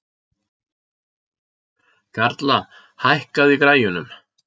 Karla, lækkaðu í græjunum.